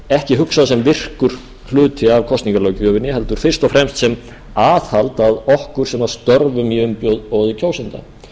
ekki hugsað sem virkur hluti af kosningalöggjöfinni heldur fyrst og fremst sem aðhald að okkur sem störfum í umboði kjósenda